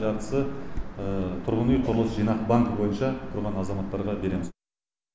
жартысы тұрғын үй құрылыс жинақ банкі бойынша тұрған азаматтарға береміз